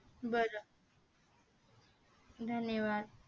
बरं धन्यवाद